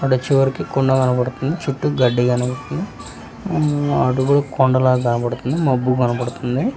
ఆడ చివరికి కుండ కనబడుతుంది చుట్టూ గడ్డి కనబడుతుంది హ్మ్మ్ అడుగులు కొండలా కనబడుతుంది మబ్బు కనబడుతుంది.